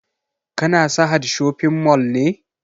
Ka na sahad shopping mall ne?